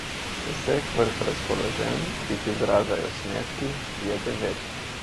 Vseh vrst razpoloženj, ki jih izražajo smeški, je devet.